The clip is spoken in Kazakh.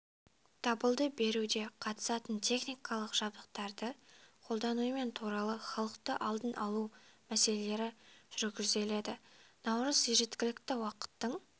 дабылды беруде қатысатын техникалық жабдықтарды қолданумен туралы халықты алдын алу мәселелері жүргізіледі наурыз жергілікті уақыттың